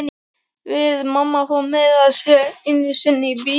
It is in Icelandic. Við mamma fórum meira að segja einu sinni í bíó.